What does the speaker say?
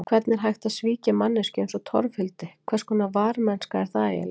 Hvernig er hægt að svíkja manneskju eins og Torfhildi, hverskonar varmennska er það eiginlega?